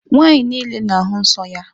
Nwaanyị niile na-ahụ nsọ ya.